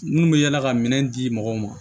Minnu bɛ yala ka minɛn di mɔgɔw ma